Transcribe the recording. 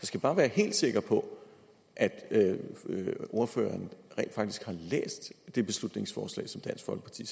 skal bare være helt sikker på at ordføreren rent faktisk har læst det beslutningsforslag som dansk folkeparti